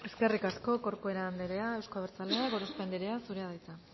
eskerrik asko corcuera anderea euzko abertzaleak gorospe anderea zurea da hitza